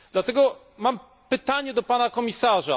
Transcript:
Dlatego mam pytanie do Pana Komisarza.